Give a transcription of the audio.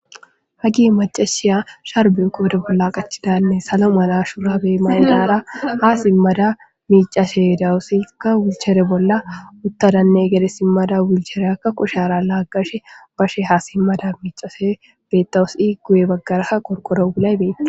Hagey maccashiya sharbe qodhe bolla qachidanne salo mala shurabe mayidara ha simada micashe de'awus . Izka wheelchair bolla utada gede simada wheelchaireka kushera lagashebha simada micashe betawus iza guye bagaraka qorqoro wulay Des.